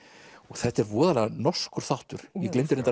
þetta er voðalega norskur þáttur ég gleymdi